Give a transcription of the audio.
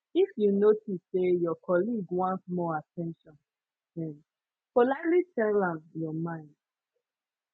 if you notice say your colleague want more at ten tion um politely tell am your mind